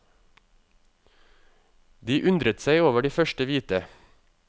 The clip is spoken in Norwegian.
De undret seg over de første hvite.